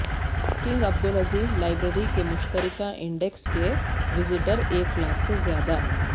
king Abdul Aziz library کے مشترکہ index کے وزٹر ایک لاکھ سے زیادہ